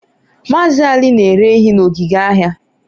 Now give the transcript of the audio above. Maazị Ali na-ere ehi na ogige ahịa